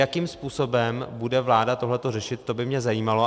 Jakým způsobem bude vláda tohleto řešit, to by mě zajímalo.